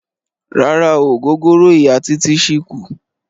Rárá o, ògógóró Ìya Títí ṣì kù.